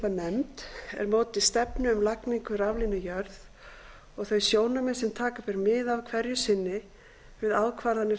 nefnd er móti stefnu um lagningu raflínu í jörð og þau sjónarmið sem taka ber mið af hverju sinni við ákvarðanir